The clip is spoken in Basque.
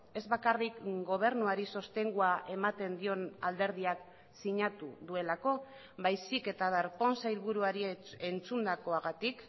ez bakarrik gobernuari sostengua ematen dion alderdiak sinatu duelako baizik eta darpón sailburuari entzundakoagatik